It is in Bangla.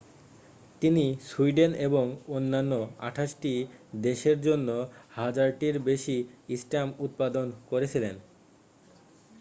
তিনি সুইডেন এবং অন্যান্য 28টি দেশের জন্য হাজারটির বেশী স্ট্যাম্প উৎপাদন করেছিলেন